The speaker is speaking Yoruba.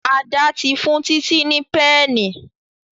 Ada tí fún Titi ní Pẹ́ẹ̀nì.